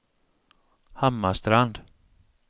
Hammarstrand